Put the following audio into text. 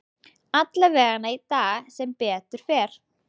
Allavegana í dag, sem betur fer.